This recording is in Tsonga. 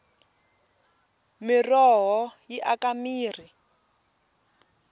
miroho yi aka mirhi